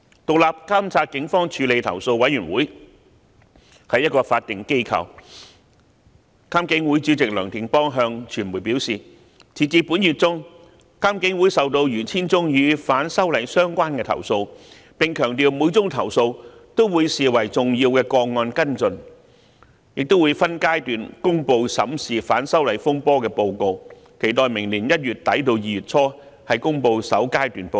獨立監察警方處理投訴委員會是一個法定機構，監警會主席梁定邦向傳媒表示，截至本月中，監警會收到逾 1,000 宗與反修例運動相關的投訴，並強調會將每宗投訴視為重要個案跟進，亦會分階段公布審視反修例風波的報告，期待明年1月底至2月初公布首階段報告。